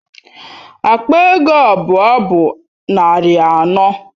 Akpa ego abụọ bụ narị anọ.